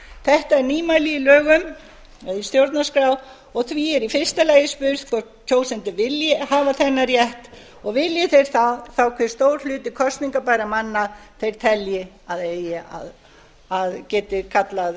þetta er nýmæli í stjórnarskrá og því er í fyrsta lagi spurt hvort kjósendur vilji hafa þennan rétt og vilji þeir það á hve stór hluti kosningabærra manna þeir telji að geti kallað